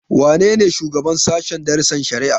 Wane ne shugaban sashen darasin shari'a?